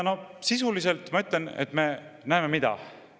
Sisuliselt aga me näeme mida?